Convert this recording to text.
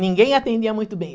Ninguém atendia muito bem.